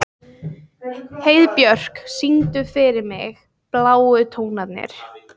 Heiðbjörk, syngdu fyrir mig „Bláu tónarnir“.